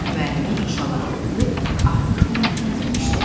Müəllimə inşaları oxuyub artıq qiymətləndirmişdi.